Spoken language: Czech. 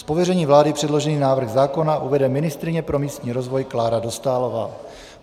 Z pověření vlády předložený návrh zákona uvede ministryně pro místní rozvoj Klára Dostálová.